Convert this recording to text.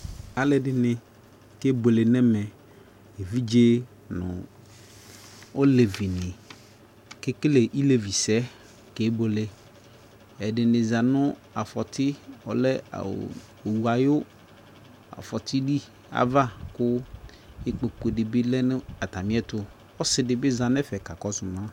alɔdini ke buele nɛ mɛ evidƶe nu ɔlevi ni ke kele ilevi sɛ ke buele ɛɖini zã nu aƒɔti ava ku ipkoku di by lɛ nu ata miɛ tu ɔsi di bi za nɛƒɛ ka kɔsu mã